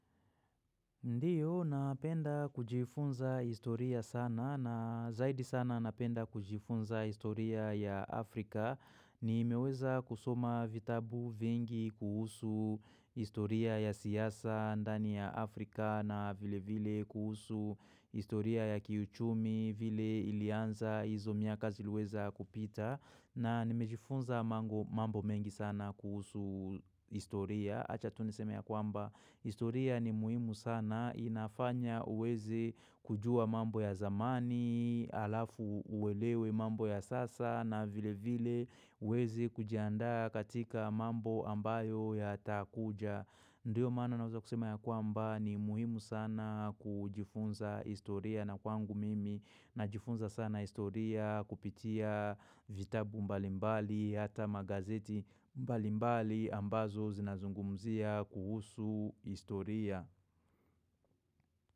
Ndiyo, napenda kujifunza historia sana na zaidi sana napenda kujifunza historia ya Afrika. Nimeweza kusoma vitabu vingi kuhusu historia ya siasa ndani ya Afrika na vile vile kuhusu historia ya kiuchumi vile ilianza hizo miaka ziliweza kupita. Na nimejifunza mambo mengi sana kuhusu historia, acha tu niseme ya kwamba, historia ni muhimu sana, inafanya uwezi kujua mambo ya zamani, alafu uwelewe mambo ya sasa, na vile vile uwezi kujiandaa katika mambo ambayo ya takuja. Ndiyo maana naweza kusema ya kwamba ni muhimu sana kujifunza historia na kwangu mimi najifunza sana historia kupitia vitabu mbalimbali hata magazeti mbalimbali ambazo zinazungumzia kuhusu historia.